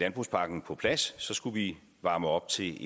landbrugspakken på plads skulle vi varme op til